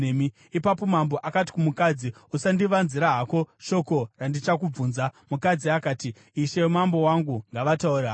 Ipapo mambo akati kumukadzi, “Usandivanzira hako shoko randichakubvunza.” Mukadzi akati, “Ishe mambo wangu ngavataure havo.”